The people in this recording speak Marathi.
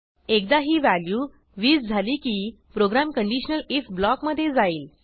एकदा ही व्हॅल्यू 20 झाली की प्रोग्रॅम कंडिशनलif ब्लॉकमधे जाईल